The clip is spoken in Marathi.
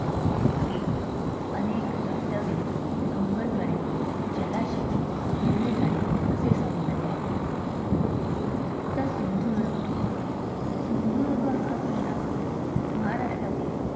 इथे अनेक धब धबे, डोंगरकडे, जलाशय, हिरवी झाडे, असे सौंदर्य आहे. सिंधुदुर्ग किल्ला - सिंधुदुर्ग हा किल्ला महाराष्ट्रातील